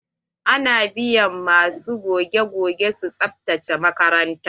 Ana biyan ma su goge-goge su tsabtace makaranta.